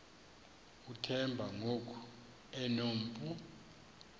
uthemba ngoku enompu